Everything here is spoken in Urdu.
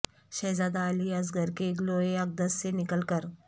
شہزادہ علی اصغر کے گلوئے اقدس سے نکل کر